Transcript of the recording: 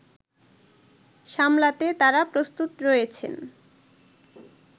সামলাতে তারা প্রস্তুত রয়েছেন